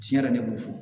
Tiɲɛ yɛrɛ ne b'o fɔ